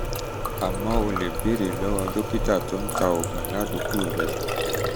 àmọ́ o lè um béèrè um lọ́wọ́ dókítà tó ń ta um oògùn ládùúgbò rẹ